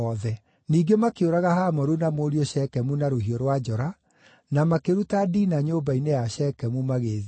Ningĩ makĩũraga Hamoru na mũriũ Shekemu na rũhiũ rwa njora, na makĩruta Dina nyũmba-inĩ ya Shekemu, magĩĩthiĩra.